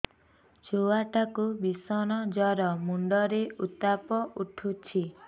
ଛୁଆ ଟା କୁ ଭିଷଣ ଜର ମୁଣ୍ଡ ରେ ଉତ୍ତାପ ଉଠୁଛି